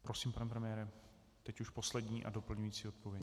Prosím, pane premiére, teď už poslední a doplňující odpověď.